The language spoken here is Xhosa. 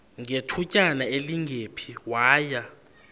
ngethutyana elingephi waya